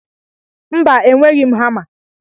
Mba, enweghị m hama.